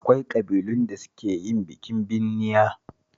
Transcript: Akwai ƙabilun da suke yin bikin binniya